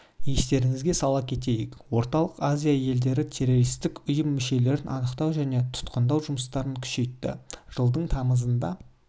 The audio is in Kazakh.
естеріңізге сала кетейік орталық азия елдері террористік ұйым мүшелерін анықтау және тұтқындау жұмыстарын күшейтті жылдың тамызында